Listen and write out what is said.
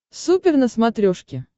супер на смотрешке